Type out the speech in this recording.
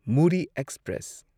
Murree express